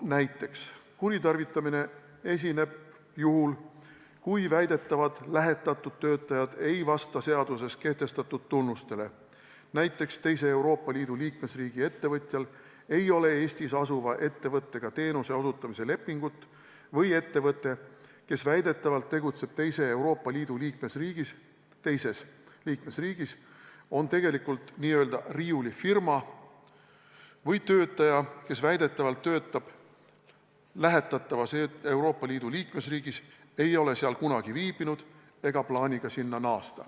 Näiteks esineb kuritarvitamine juhul, kui väidetavad lähetatud töötajad ei vasta seaduses kehtestatud tunnustele, kui teise Euroopa Liidu liikmesriigi ettevõtjal ei ole Eestis asuva ettevõttega teenuse osutamise lepingut või ettevõte, kes väidetavalt tegutseb teises Euroopa Liidu liikmesriigis, on tegelikult n-ö riiulifirma, või töötaja, kes väidetavalt töötab lähetatavas Euroopa Liidu liikmesriigis, ei ole seal kunagi viibinud ega plaani ka sinna minna.